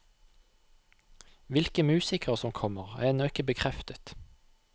Hvilke musikere som kommer, er ennå ikke bekreftet.